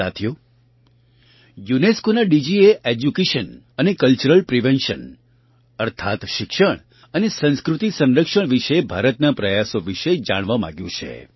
સાથીઓ UNESCOનાં ડીજીએ એડ્યુકેશન અને કલ્ચરલ પ્રિઝર્વેશન અર્થાત્ શિક્ષણ અને સંસ્કૃતિ સંરક્ષણ વિશે ભારતના પ્રયાસો વિશે જાણવા માગ્યું છે